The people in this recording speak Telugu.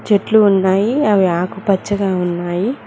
చెట్లు ఉన్నాయి అవి ఆకు పచ్చగా ఉన్నాయి.